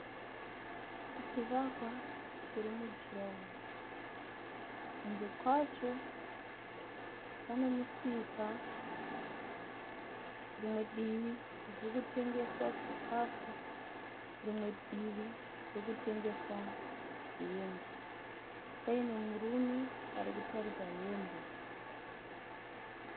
Chivakwa chiri mujuraho. Kunze kwacho pane musika. Rimwe divi kurikutengeswa chikafu rimwe divi kurikutengeswa hembe. Paine murume arikutarisa hembe.